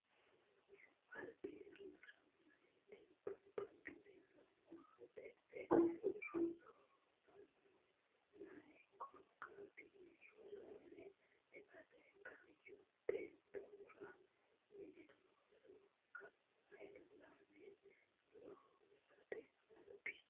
Albi yannara meyati babbaxxino maatete roso rosanno meya korkaatinni rosu mine eate kaayyo beettora mini looso kaa lamme loosate Albi.